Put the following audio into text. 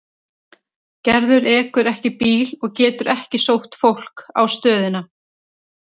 Gerður ekur ekki bíl og getur ekki sótt fólk á stöðina.